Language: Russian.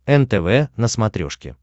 нтв на смотрешке